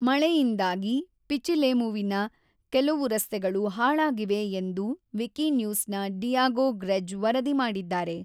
ಮಳೆಯಿಂದಾಗಿ ಪಿಚಿಲೇಮುವಿನ ಕೆಲವು ರಸ್ತೆಗಳು ಹಾಳಾಗಿವೆ ಎಂದು ವಿಕಿನ್ಯೂಸ್‌ನ ಡಿಯಾಗೋ ಗ್ರೆಜ್ ವರದಿ ಮಾಡಿದ್ದಾರೆ.